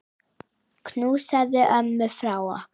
Knúsaðu ömmu frá okkur.